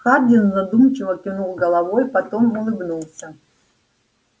хардин задумчиво кивнул головой потом улыбнулся